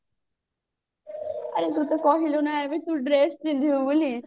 ଆରେ ତୁ ତ କହିଲୁ ନା ଏବେ ତୁ dress ପିନ୍ଧିବୁ ବୋଲି